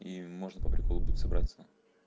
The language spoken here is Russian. и можно по приколу будет собраться